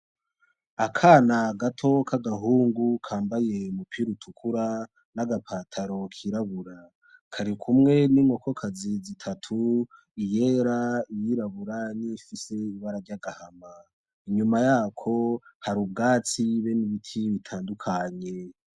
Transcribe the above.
Akana gato k'agahungu kambaye umupira utukura n'agapantaro k'irabura, kari kumwe n'inkokokazi zitatu: iyera, iy'irabura n'iyifise ibara ry'agahama. Inyuma yako hari ubwatsi be n'ibiti bitandukanye.